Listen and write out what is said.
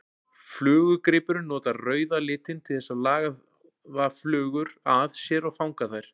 Flugugrípurinn notar rauða litinn til að laða flugur að sér og fanga þær.